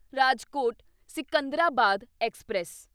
Rajkot Secunderabad express